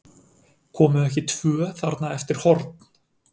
Komu ekki tvö þarna eftir horn?